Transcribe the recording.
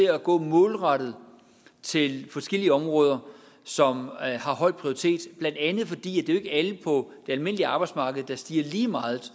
gå målrettet til forskellige områder som har høj prioritet blandt andet fordi det er alle på det almindelige arbejdsmarked der stiger lige meget